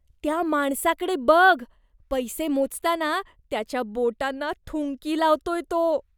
त्या माणसाकडे बघ. पैसे मोजताना त्याच्या बोटांना थुंकी लावतोय तो.